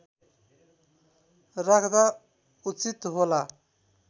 राख्दा उचित होला